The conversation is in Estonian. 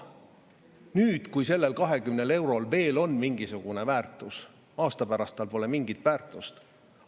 Nüüd, kui sellel 20 eurol veel on mingisugune väärtus, siis aasta pärast tal pole mingit väärtust.